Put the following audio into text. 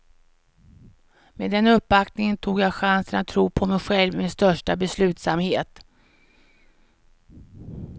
Med den uppbackningen tog jag chansen att tro på mig själv med största beslutsamhet.